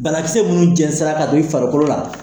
Banakisɛ minnu jɛnsɛra ka don i farikolo la